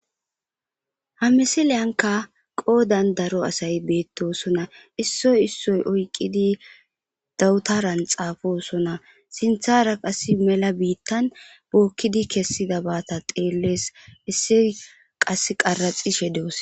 Ha misiliyanka qoodan daro asay beettosona issoy issoy oyqidi dawutaran xaafosona sinthara qas mela biittan bookkidi kessida baata xeelles issi qass qaraxishe deos.